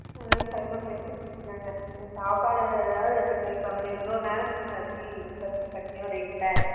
ஹம் கண்டபடி திட்டுனாங்க நீ சாப்படு ஆது எடுத்துட்டு போயிருக்கலாம்ல இவ்ளோ நேரம் ஆச்சு பசி பட்னியோட இருப்ப